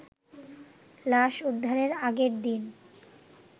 লাশ উদ্ধারের আগের দিন